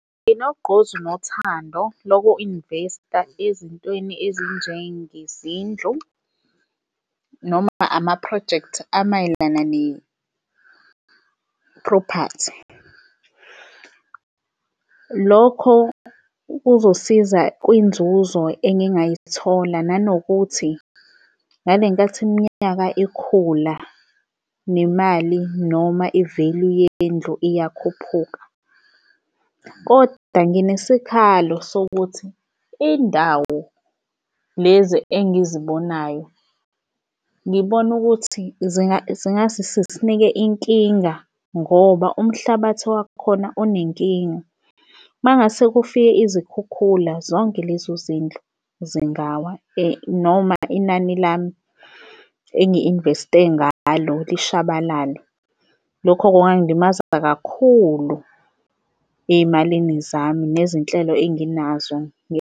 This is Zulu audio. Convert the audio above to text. Nginogqozi nothando loku-invest-a ezintweni ezinjengezindlu noma amaphrojekthi amayelana ne-property. Lokho kuzosiza kwinzuzo engingayithola nanokuthi ngale nkathi iminyaka ikhula nemali noma i-value yendlu iyakhuphuka. Kodwa nginesikhalo sokuthi indawo lezi engizibonayo ngibona ukuthi zingase zisinike inkinga ngoba umhlabathi wakhona unenkinga. Uma ngase kufike izikhukhula zonke lezo zindlu zingawa noma inani lami engi-invest-e ngalo lishabalale. Lokho kungilimaza kakhulu ey'malini zami nezinhlelo enginazo .